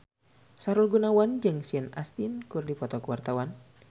Sahrul Gunawan jeung Sean Astin keur dipoto ku wartawan